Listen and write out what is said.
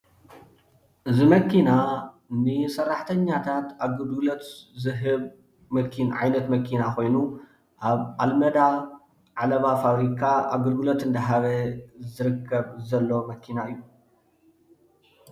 እዚ መኪና ንሰራሕተኛታት ኣገልግሎት ዝህብ ዓይነት መኪና ኮይኑ፣ ኣብ ኣልመዳ ዓለባ ፋብሪካ ኣገልግሎት እንዳሃበ ዝርከብ ዘሎ መኪና እዩ፡፡